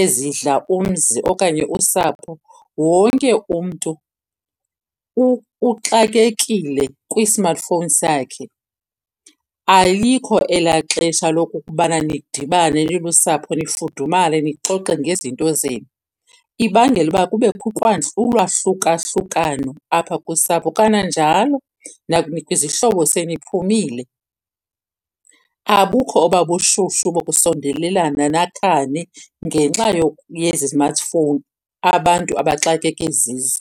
ezidla umzi okanye usapho, wonke umntu uxakekile kwi-smartphone sakhe. Alikho elaa xesha lokokubana nidibane nilusapho nifudumale nixoxe ngezinto zenu. Ibangela uba kubekho ulwahluka- hlukano apha kusapho. Kananjalo izihlobo seniphumile abukho oba bushushu bokusondelelana nakhane ngenxa yezi zimathifowuni abantu abaxakeke zizo.